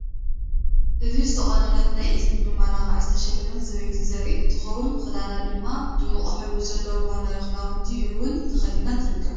እዚ ዝተቆነነትን ናይ እዝኒ መመላክዒ ዝተሸለመት ሰበይቲ ዘሪኢ እንትኮውን ክዳና ድማ ድሙቕ ሕብሪ ዘለዎ ባህላዊ ኽዳውንቲ እውን ተከዲና ትርከብ ።